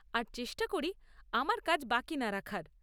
আর চেষ্টা করি আমার কাজ বাকি না রাখার।